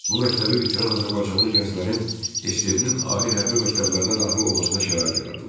Bu məktəbi bitirən azərbaycanlı gənclərin SSRİ-nin ali hərbi məktəblərinə daxil olmasına şərait yaradıldı.